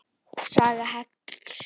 Saga hekls á Íslandi